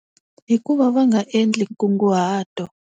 Hi ku va va nga endli nkunguhato.